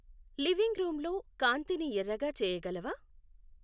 living రూమ్లో కాంతిని ఎర్రగా చేయగలవా